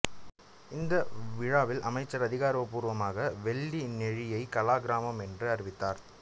இந்த விழாவில் அமைச்சர் அதிகாரப்பூர்வமாக வெள்ளிநெழியை கலாகிராமம் என்று அறிவித்தார்